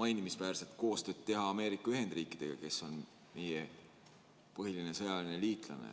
mainimisväärset koostööd Ameerika Ühendriikidega, kes on meie põhiline sõjaline liitlane.